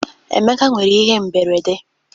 Emeka nwere ihe mberede?